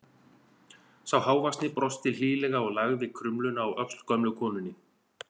Sá hávaxnari brosti hlýlega og lagði krumluna á öxl gömlu konunni.